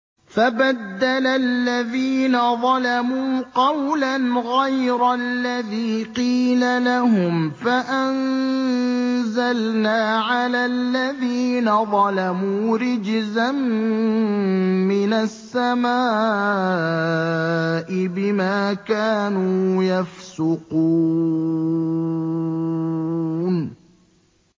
فَبَدَّلَ الَّذِينَ ظَلَمُوا قَوْلًا غَيْرَ الَّذِي قِيلَ لَهُمْ فَأَنزَلْنَا عَلَى الَّذِينَ ظَلَمُوا رِجْزًا مِّنَ السَّمَاءِ بِمَا كَانُوا يَفْسُقُونَ